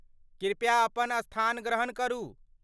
कृपया अपन स्थान ग्रहण करू।